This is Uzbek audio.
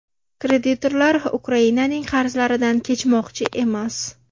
Kreditorlar Ukrainaning qarzlaridan kechmoqchi emas.